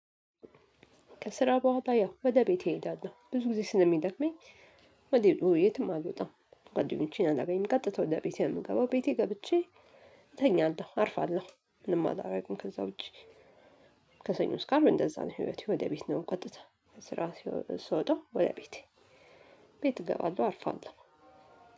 ከስራ በኋላ ያው ወደ ቤቴ እሄዳለሁ ብዙ ጊዜ ስለሚደክመኝ ወደ ቤ የትም አልወጣም። ጓደኞቼን አላገኝም ቀጥታ ወደ ቤቴ ነው የምገባው ቤቴ ገብቼ እተኛለሁ አርፋለሁ ምንም አላደርግም ከዛ ውጪ። ከሰኞ እስከ አርብ እንደዛ ነው ህይወቴ። ወደ ቤት ነው ቀጥታ ስራ ሲወ ስወጣው ወደ ቤቴ። ቤት እገባለሁ አርፋለሁ።